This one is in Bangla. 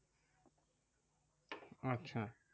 আচ্ছা